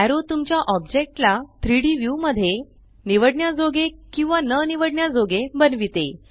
arrow तुमच्या ओब्जेक्टला 3डी व्यू मध्ये निवडण्याजोगे किंवा न निवडण्याजोगे बनविते